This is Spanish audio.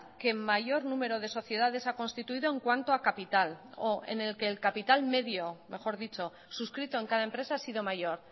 que mayor número de sociedades ha constituido en cuanto a capital o en el que el capital medio mejor dicho suscrito en cada empresa ha sido mayor